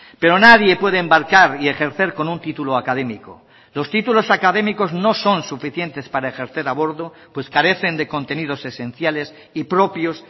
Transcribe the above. pero nadie puede embarcar y ejercer con un título académico los títulos académicos no son suficientes para ejercer a bordo pues carecen de contenidos esenciales y propios